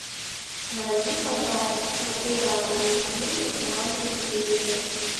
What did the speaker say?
найди пожалуйста популярные фильмы в жанре триллер